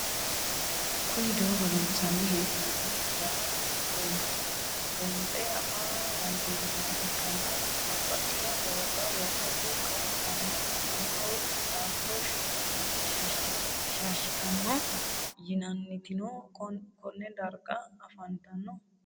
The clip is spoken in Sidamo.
Kuni doogo loonsani heen'oni gara buunxemo afaa dandinemoha ikana babaxitino dooga loosate kali'tanonna mannaho dafuro shaashitano yinnanitino Kone darga afantano?